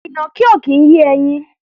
Ìnàkí ò kì í yé ẹyin.